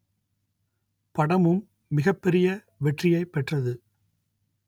படமும் மிகப்பெரிய வெற்றியை பெற்றது